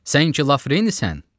Sən ki Lafrenisən?